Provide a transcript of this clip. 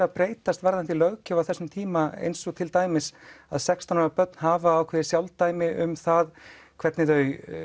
að breytast varðandi löggjöf á þessum tíma eins og til dæmis sextán ára börn hafa ákveðið sjálfdæmi um hvernig þau